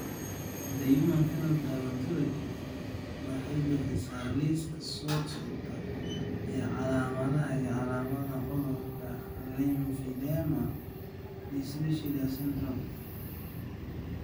The Human Phenotype Ontology waxay bixisaa liiska soo socda ee calaamadaha iyo calaamadaha cudurka Lymphedema distichiasis syndrome.